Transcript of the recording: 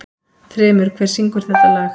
Þrymur, hver syngur þetta lag?